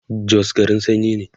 Jos garin sanyi ne